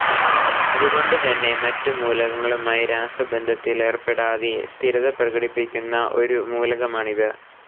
അതു കൊണ്ടു തന്നെ മറ്റു മൂലകങ്ങളുമായി രാസബന്ധത്തിലേർപ്പെടാതെ സ്ഥിരത പ്രകടിപ്പിക്കുന്ന ഒരു മൂലകമാണിത്.